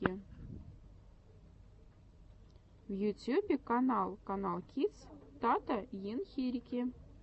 в ютьюбе канал каналкидс тата ен хирики